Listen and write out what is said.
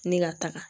Ni ka taga